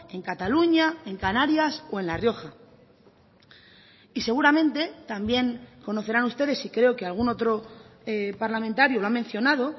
en cataluña en canarias o en la rioja y seguramente también conocerán ustedes y creo que algún otro parlamentario lo ha mencionado